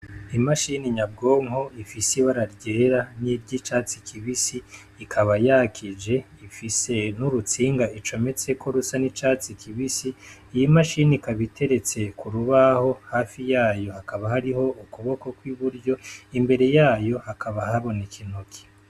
Imashini nyabwonko ifise ibara ryera n' iryicatsi kibisi ikaba yakije ifise n' urutsinga icometseko rusa n' icatsi kibisi iyo mashine ikaba iteretse ku rubaho hafi yayo hakaba hariho ukuboko kw' iburyo imbere yayo hakaba haboneka intoki.